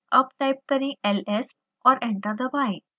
अब टाइप करें ls और एंटर दबाएं